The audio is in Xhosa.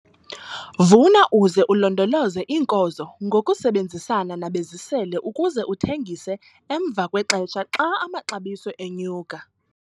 Vuna uze ulondoloze iinkozo ngokusebenzisana nabezisele ukuze uthengise emva kwexesha xa amaxabiso enyuka